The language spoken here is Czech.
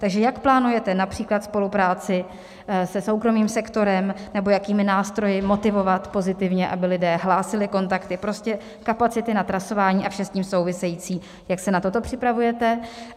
Takže jak plánujete například spolupráci se soukromým sektorem nebo jakými nástroji motivovat pozitivně, aby lidé hlásili kontakty, prostě kapacity na trasování a vše s tím související, jak se na toto připravujete?